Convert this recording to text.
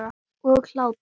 Og hlátur.